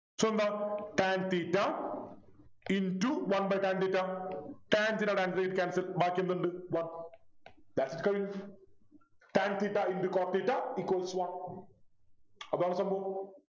so എന്താ tan theta into One by tan theta tan theta tan theta cancels ബാക്കി എന്തുണ്ട് one thats it കഴിഞ്ഞു Tan theta into cot theta equals one അതാണ് സംഭവം